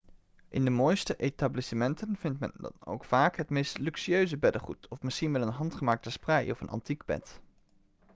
in de mooiste etablissementen vindt men dan ook vaak het meest luxueuze beddengoed of misschien wel een handgemaakte sprei of een antiek bed